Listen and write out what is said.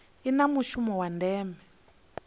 i na mushumo wa ndeme